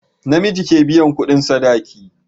Namiji ke biyan kudin sadaki